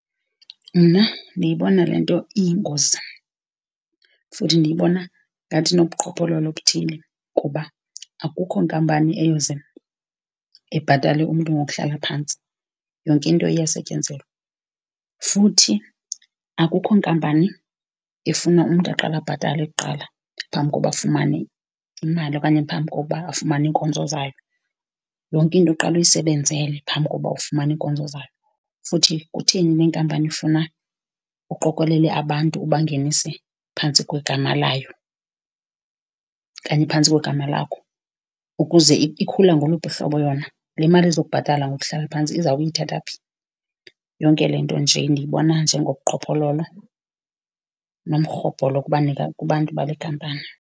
Mna ndiyibona le nto iyingozi, futhi ndiyibona ngathi inobuqhophololo obuthile, kuba akukho nkampani eyoze ibhatale umntu ngokuhlala phantsi, yonke into iyasetyenzelwa. Futhi akukho nkampani efuna umntu aqale abhatale kuqala phambi koba afumane imali okanye phambi koba afumane iinkonzo zayo, yonke into uqale uyisebenzele phambi kokuba ufumane iinkonzo zayo. Futhi kutheni le nkampani ifuna uqokelele abantu ubangenise phantsi kwegama layo okanye phantsi kwegama lakho ukuze , ikhula ngoluphi uhlobo yona? Le mali ezokubhatala ngokuhlala phantsi izawube iyithatha phi? Yonke le nto nje ndiyibona nje ngobuqhophololo nomrhobholo kubantu bale khampani.